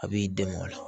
A b'i dɛmɛ o la